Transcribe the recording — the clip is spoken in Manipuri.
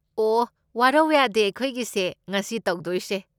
ꯑꯣꯍ, ꯋꯥꯔꯋ ꯌꯥꯗꯦ ꯑꯩꯈꯣꯏꯒꯤꯁꯦ ꯉꯁꯤ ꯇꯧꯗꯣꯏꯁꯦ꯫